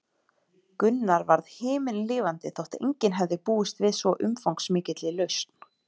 Gunnar varð himinlifandi þótt enginn hefði búist við svo umfangsmikilli lausn.